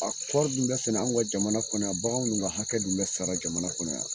A kɔrɔɔri dun bɛ sɛnɛ an ka jamana kɔnɔ yan baganw ka hakɛ dun bɛ sara jamana kɔnɔ yan